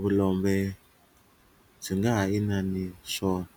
vulombe byi nga ha inani swona.